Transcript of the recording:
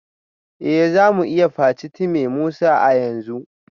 Eh za mu iya facetime Musa a yanzu